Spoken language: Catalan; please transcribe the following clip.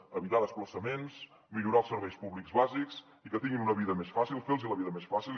per evitar desplaçaments per millorar els serveis públics bàsics i perquè tinguin una vida més fàcil fer los la vida més fàcil